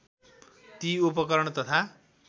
ती उपकरण तथा